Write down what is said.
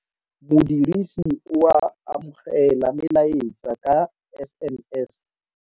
Modirisi o amogela melaetsa ka SMS